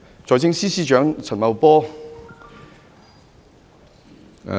財政司司長陳茂波......